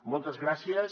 moltes gràcies